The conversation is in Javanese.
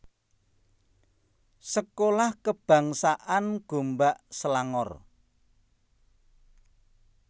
Sekolah Kebangsaan Gombak Selangor